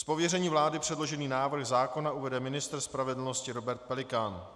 Z pověření vlády předložený návrh zákona uvede ministr spravedlnosti Robert Pelikán.